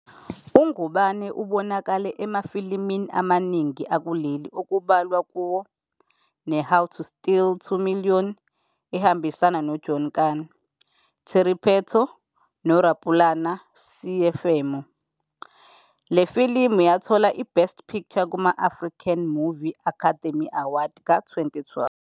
UNgubane ubonakale emafilimini amaningi akuleli okubalwa "kuwo neHow to Steal 2 Million", ehambisana noJohn Kani, Terry Pheto noRapulana Seiphemo. Le filimu yathola iBest Picture kuma- African Movie Academy Awards ka-2012.